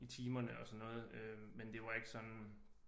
I timerne og sådan noget øh men det var ikke sådan